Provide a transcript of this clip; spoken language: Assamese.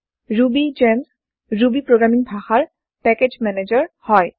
ৰুবী যেম্চ ৰুবী প্ৰগ্ৰেমীং ভাষাৰ পেকেজ মেনেজাৰ হয়